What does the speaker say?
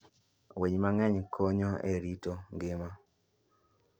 Winy mang'eny konyo e rito ngima.